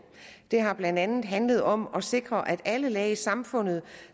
det har blandt andet handlet om at sikre at alle lag i samfundet